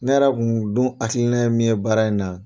Ne yɛrɛ kun dun hakilina ye min ye baara in na.